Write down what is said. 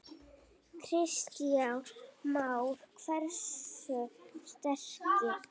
Kristján Már: Hversu sterkt?